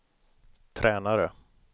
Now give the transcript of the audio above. tränare